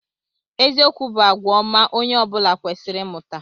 Eziokwu bụ àgwà ọma onye ọ bụla kwesịrị ịmụta.